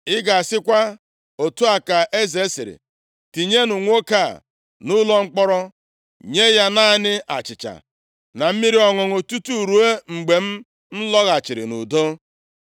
ị ga-asịkwa, ‘Otu a ka eze sịrị: Tinye nwoke a nʼụlọ mkpọrọ, nye ya naanị achịcha na mmiri ọṅụṅụ tutu ruo mgbe m lọghachiri nʼudo.’ ”